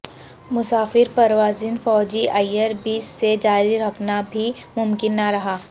مسافر پروازیں فوجی ائیر بیس سے جاری رکھنا بھی ممکن نہ رہا